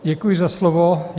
Děkuji za slovo.